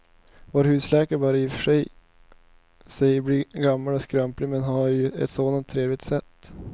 Vår husläkare börjar i och för sig bli gammal och skröplig, men han har ju ett sådant trevligt sätt!